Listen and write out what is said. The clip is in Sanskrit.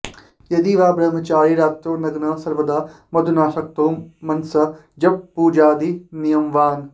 यदि वा ब्रह्मचारी रात्रौ नग्नः सर्वदा मधुनाऽशक्तो मनसा जपपूजादिनियमवान्